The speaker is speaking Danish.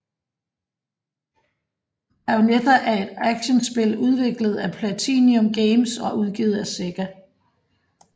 Bayonetta er et actionspil udviklet af PlatinumGames og udgivet af Sega